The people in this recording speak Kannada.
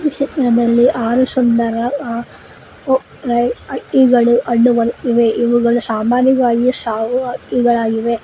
ಈ ಚಿತ್ರದಲ್ಲಿ ಆರು ಸುಂದರ ಅ ಕೊಕ್ಕರೆ ಹಕ್ಕಿಗಳು ಕಂಡು ಬರುತ್ತಿವೆ ಇವುಗಳು ಸಾಮಾನ್ಯವಾಗಿ ಸಾವು ಹಕ್ಕಿಗಳಾಗಿವೆ.